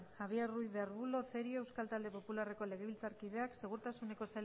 javier ruiz de arbulo cerio euskal talde popularreko legebiltzarkideak segurtasuneko